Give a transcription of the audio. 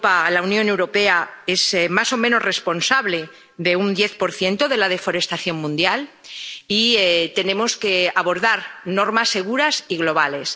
La Unión Europea es más o menos responsable de un 10 de la deforestación mundial, y tenemos que abordar normas seguras y globales.